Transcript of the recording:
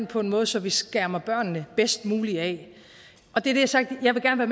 på en måde så vi skærmer børnene bedst muligt jeg har sagt at jeg gerne